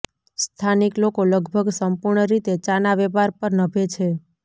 સ્થાનિક લોકો લગભગ સંપૂર્ણ રીતે ચાના વેપાર પર નભે છે